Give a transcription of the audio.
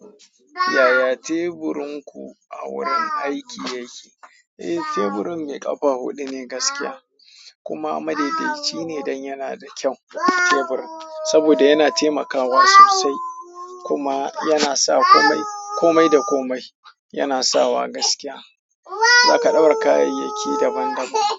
Yaya teburinku a wurin aiki yake? Eh, teburin mai ƙafa huɗu ne gaskiya, kuma madaidaici ne don yana da kyau teburin saboda yana taimakawa sosai kuma yana sa komai komai da komai, yana sawa gaskiya. Zaka ɗaura kayayyaki daban daban.